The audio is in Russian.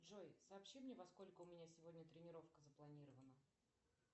джой сообщи мне во сколько у меня сегодня тренировка запланирована